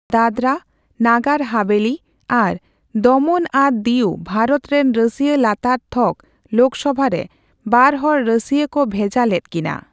ᱫᱟᱫᱨᱟ, ᱱᱟᱜᱟᱨ ᱦᱟᱵᱷᱮᱹᱞᱤ ᱟᱨ ᱫᱚᱢᱚᱱ ᱟᱨ ᱫᱤᱭᱩ ᱵᱷᱟᱨᱚᱛ ᱨᱮᱱ ᱨᱟᱹᱥᱤᱭᱟᱹ ᱞᱟᱛᱟᱨ ᱛᱷᱚᱠ ᱞᱳᱠᱥᱚᱵᱷᱟ ᱨᱮ ᱵᱟᱨᱦᱚᱲ ᱨᱟᱹᱥᱤᱭᱟᱹ ᱠᱚ ᱵᱷᱮᱡᱟ ᱞᱮᱫ ᱠᱤᱱᱟ ᱾